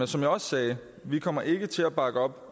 som jeg også sagde vi kommer ikke til at bakke op